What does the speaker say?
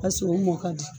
A sɔrɔ mɔ ka di